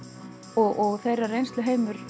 og þeirra reynsluheimur